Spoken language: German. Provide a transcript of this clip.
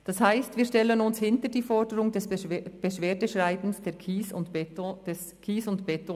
Das heisst, wir stellen uns hinter die Forderung des Beschwerdeschreibens des KSE Bern.